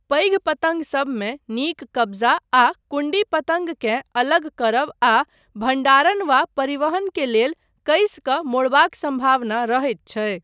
पैघ पतङ्गसबमे, नीक कब्जा आ कुण्डी पतङ्गकेँ अलग करब आ भण्डारण वा परिवहन के लेल कसि कऽ मोड़बाक सम्भावना रहैत छै।